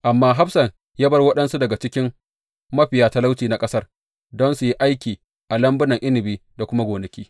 Amma hafsan ya bar waɗansu daga cikin mafiya talauci na ƙasar don su yi aiki a lambunan inabi da kuma gonaki.